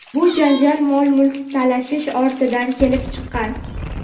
bu janjal mol-mulk talashish ortidan kelib chiqqan.